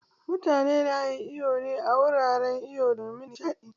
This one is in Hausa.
Mutane na yin iwo ne a wuraren iwo domin nishaɗi